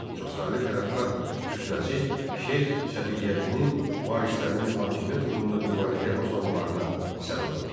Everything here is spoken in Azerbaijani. Çoxsaylı tərəfdar kütləsi Şeyx Səfiyyəddinin varislərinin hakimiyyət uğrunda mübarizəyə başlamalarına səbəb oldu.